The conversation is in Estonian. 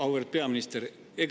Auväärt peaminister!